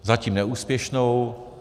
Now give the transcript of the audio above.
Zatím neúspěšnou.